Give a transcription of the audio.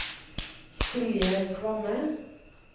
Silje Kvamme